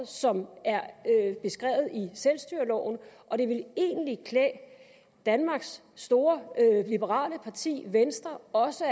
som er beskrevet i selvstyreloven og det ville egentlig klæde danmarks store liberale parti venstre også